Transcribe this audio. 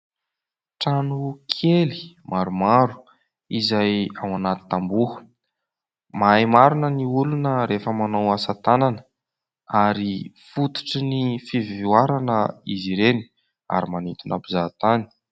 Trano kely maromaro izay ao anaty tamboho. Mahay marina ny olona rehefa manao asa tanana ary fototry ny fivoarana izy ireny ary manintona mpizahatany.